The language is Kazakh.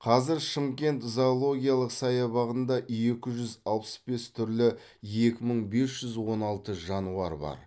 қазір шымкент зоологиялық саябағында екі жүз алпыс бес түрлі екі мың бес жүз он алты жануар бар